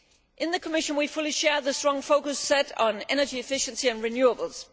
In the Commission we fully share the strong focus set on energy efficiency and renewables.